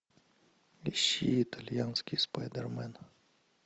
ищи итальянский спайдермен